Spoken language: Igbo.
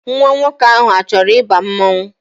Nwa nwoke ahụ achọrọ ịba mmanwụ